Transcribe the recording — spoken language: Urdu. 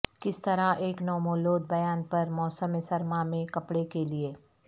کس طرح ایک نومولود بیان پر موسم سرما میں کپڑے کے لئے